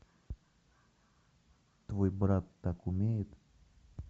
твой брат так умеет